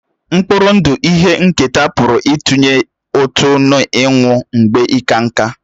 Mkpụrụ ndụ ihe nketa pụrụ ịtụnye ụtụ n'ịnwụ mgbe ịka nká